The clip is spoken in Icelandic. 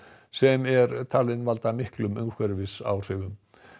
sem er talin valda miklum umhverfisáhrifum